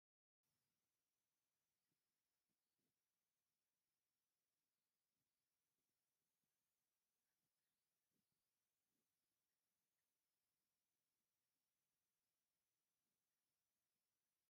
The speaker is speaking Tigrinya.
ኣብ ተር ዝበላ ቡንባ ሰባት ኢዶም ይሕፀቡ ኣለዉ፡፡ ከምዚ ዝኣምሰላ ቡንባ ኣብ ከም ዩኒቨርሲቲ ዝኣምሰሉ ትካላት ይርከባ፡፡ እዚ ዝኾነሉ ምኽንያት ካብ ምንታይ ዝነቐለ እዩ?